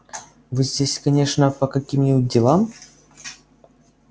вы здесь конечно по каким-нибудь делам